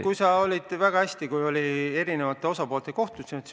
Jürgen, sa olid kohal, kui oli eri osapoolte kohtumine.